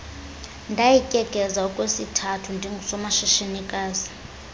ndayityekeza okwesithathu ndingusomashishinikazi